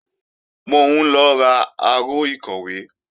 Mò ń lọ ra aró ìkọ̀wé